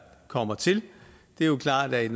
kommer til det er klart at